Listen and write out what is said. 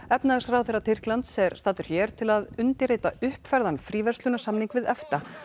efnahagsráðherra Tyrklands er staddur hér til að undirrita uppfærðan fríverslunarsamning við EFTA